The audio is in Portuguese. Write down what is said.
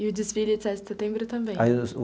E o desfile de Sete de Setembro também?